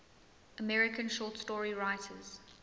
american short story writers